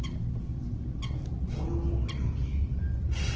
go yo mongwe yo ke